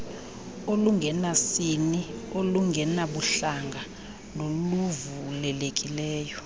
olungenasini olungenabuhlanga noluvulelekileyo